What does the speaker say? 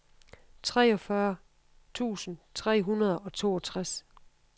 treogfyrre tusind tre hundrede og toogtres